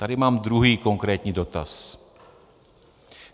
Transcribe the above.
Tady mám druhý konkrétní dotaz.